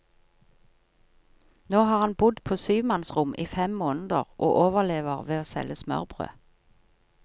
Nå har han bodd på syvmannsrom i fem måneder og overlever ved å selge smørbrød.